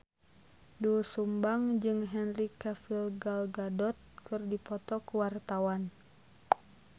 Doel Sumbang jeung Henry Cavill Gal Gadot keur dipoto ku wartawan